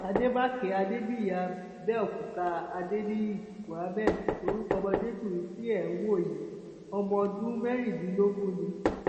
àdèmàkè adébíyí àbẹòkúta adéníyí muhammed lorúkọ ọmọdékùnrin tí ẹ ń wò yìí ọmọ ọdún mẹrìndínlógún ni